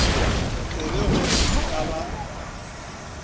tsebe gore e ka ba